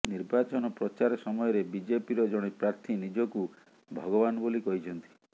ନିର୍ବାଚନ ପ୍ରଚାର ସମୟରେ ବିଜେପିର ଜଣେ ପ୍ରାର୍ଥୀ ନିଜକୁ ଭଗବାନ ବୋଲି କହିଛନ୍ତି